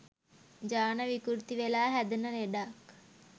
ජාන විකෘති වෙලා හැදෙන ලෙඩක්.